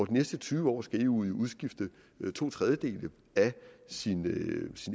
de næste tyve år skal eu omstændigheder udskifte to tredjedele af sin